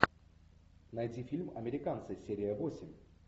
найди фильм американцы серия восемь